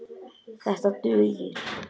Þetta dugir.